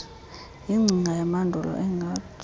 yingcinga yamandulo engathi